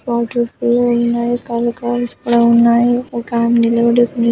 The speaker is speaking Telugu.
ఒకటి పూలు ఉన్నాయి కలర్ కాయిన్స్ కూడా ఉన్నాయి ఒక ఆమె నిలబడి ఉంది.